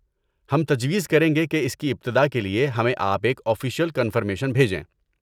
ہم تجویز کریں گے کہ اس کی ابتدا کے لیے ہمیں آپ ایک آفشیل کنفرمیشن بھیجیں۔